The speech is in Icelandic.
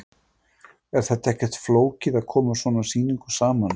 Er þetta ekkert flókið að koma svona sýningu saman?